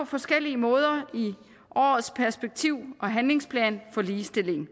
forskellige måder i årets perspektiv og handlingsplan for ligestilling